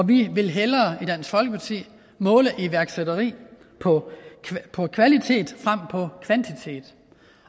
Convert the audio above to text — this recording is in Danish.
vi vil hellere i dansk folkeparti måle iværksætteri på kvalitet frem for kvantitet